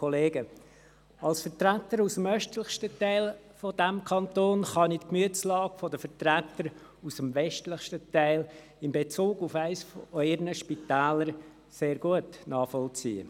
Als Vertreter des östlichsten Teils dieses Kantons kann ich die Gemütslage der Vertreter des westlichsten Teils in Bezug auf eines ihrer Spitäler sehr gut nachvollziehen.